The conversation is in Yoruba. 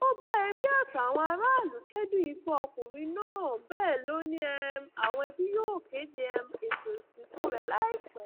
ó bá ẹbí àtàwọn aráàlú kẹdùn ikú ọkùnrin náà bẹẹ lọ ni um àwọn ẹbí yóò kéde um ètò ìsìnkú rẹ láìpẹ